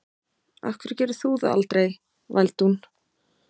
Af hverju gerir þú það aldrei? vældi hún.